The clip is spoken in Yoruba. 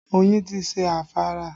Oyin ti ṣe afárá